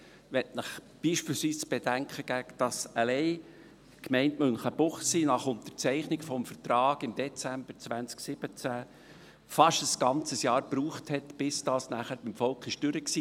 Ich möchte Ihnen beispielsweise zu bedenken geben, dass alleine die Gemeinde Münchenbuchsee nach Unterzeichnung des Vertrags im Dezember 2017 fast ein ganzes Jahr brauchte, bis es beim Volk durch war.